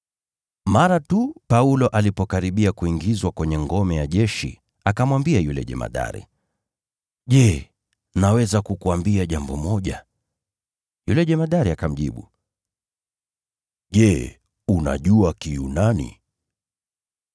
Mara tu Paulo alipokaribia kuingizwa kwenye ngome ya jeshi, akamwambia yule jemadari, “Je, naweza kukuambia jambo moja?” Yule jemadari akamjibu, “Je, unajua Kiyunani?